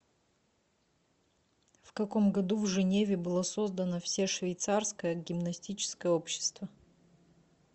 в каком году в женеве было создано все швейцарское гимнастическое общество